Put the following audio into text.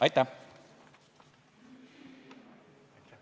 Aitäh!